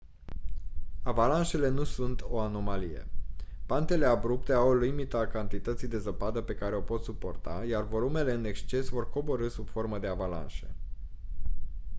avalanșele nu sunt o anomalie pantele abrupte au o limită a cantității de zăpadă pe care o pot suporta iar volumele în exces vor coborî sub formă de avalanșe